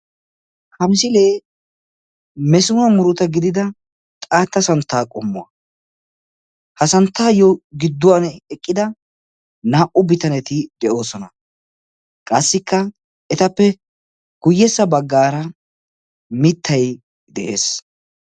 ha misilee mesinuwa muruta gidida xaatta santtaa qommo ha santtaappe gidduwan eqqida naa"u bitaneti de'oosona. qassika etappe guyyessa baggaara mittay de'ees.